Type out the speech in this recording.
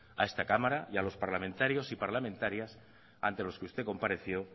a esta cámara y a los parlamentarios y parlamentarias ante los que usted compareció